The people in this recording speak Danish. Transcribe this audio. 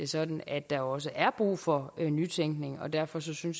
sådan at der også er brug for nytænkning og derfor synes jeg